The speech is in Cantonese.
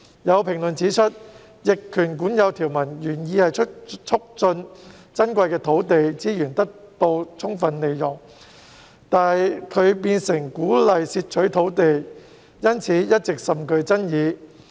有評論指出，逆權管有條文原意是促進珍貴的土地資源得以充分利用，但它變相鼓勵竊取土地，因此一直甚具爭議。